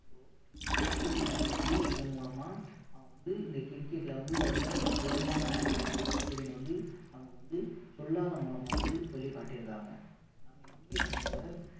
இந்த ஆஸ்திரேலியா அணி வந்து இதன் மூலமா அவங்க வந்து இந்த cricket ல வந்து ரொம்ப வலுவான அணி அப்படின்னு வந்து நமக்கு வந்து சொல்லாத மூலமா வந்து சொல்லி காட்டியிருக்காங்க நம்ம இந்திய அணியோட